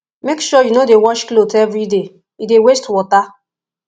make sure you no dey wash clothes everyday e dey waste water